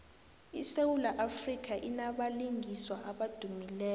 isewula afrika inabalingiswa abadumileko